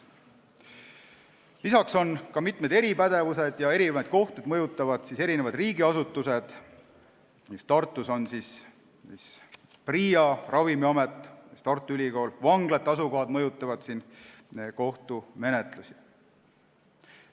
Lisaks on olemas mitmed eripädevused ja eri kohtuid mõjutavad eri riigiasutused, näiteks on Tartus PRIA, Ravimiamet, Tartu Ülikool, ka vanglate asukohad mõjutavad kohtumenetluste arvu.